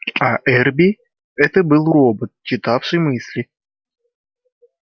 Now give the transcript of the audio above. а эрби это был робот читавший мысли